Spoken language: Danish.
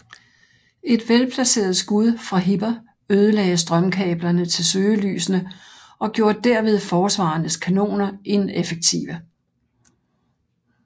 Et velplaceret skud fra Hipper ødelagde strømkablerne til søgelysene og gjorde derved forsvarernes kanoner ineffektive